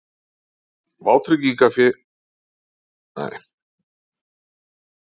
Viðlagatrygging Íslands veitir styrk til hreinsunarstarfsins